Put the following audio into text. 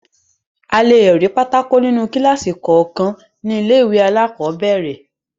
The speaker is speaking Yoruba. A le rí àwọn bọ́ọ́dù nínú kíláàsì kọ̀ọ̀kan ní ilé-ìwé alákọ̀ọ́bẹ̀rẹ̀.